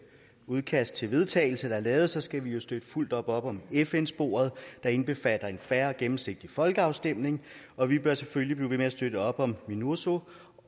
udkast til vedtagelse der er lavet så skal vi jo støtte fuldt ud op om fn sporet der indbefatter en fair og gennemsigtig folkeafstemning og vi bør selvfølgelig blive ved med at støtte op om minurso